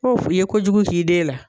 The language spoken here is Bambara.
i ye ko jugu ki den la.